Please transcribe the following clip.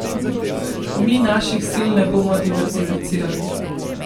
Mi naših sil ne bomo diverzificirali.